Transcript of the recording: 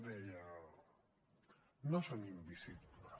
deia no són invisibles